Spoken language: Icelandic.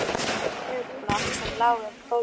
Ég tók eftir lítilli skrifblokk sem lá í gólfinu.